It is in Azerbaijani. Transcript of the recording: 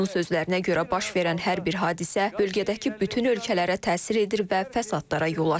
Onun sözlərinə görə baş verən hər bir hadisə bölgədəki bütün ölkələrə təsir edir və fəsadlara yol açır.